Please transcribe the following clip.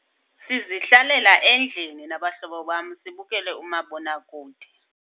Sizihlalela endlini nabahlobo bam, sibukele umabonakude.